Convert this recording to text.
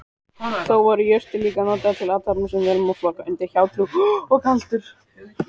Þá voru jurtir líka notaðar til athafna sem vel má flokka undir hjátrú og galdur.